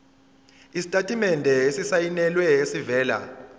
isitatimende esisayinelwe esivela